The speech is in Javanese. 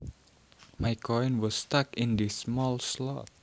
My coin was stuck in this small slot